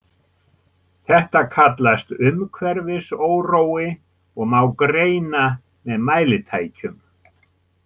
Þetta kallast umhverfisórói og má greina með mælitækjum.